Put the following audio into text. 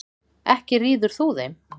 Ekki ríður þú þeim.